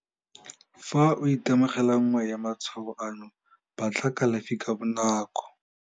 Fa o itemogela nngwe ya matshwao ano, batla kalafi ka bonako.